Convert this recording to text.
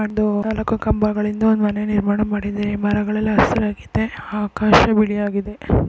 ಒಂದು ಕಂಬಗಳು ಇದೆ ಒಂದು ಮನೆ ನಿರ್ಮಾಣ ಮಾಡಿದೆ ಮರಗಳು ಎಲ್ಲ ಹಸಿರಾಗಿದೆ ಆಕಾಶ್ ಬೇಲಿಯಾಗಿದೆ